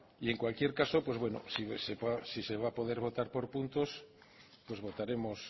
y en cualquier caso pues bueno si se va a poder votar por puntos pues votaremos